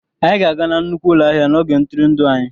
Anyị ga-aga na nnukwu ụlọ ahịa n'oge ntụrụndụ anyị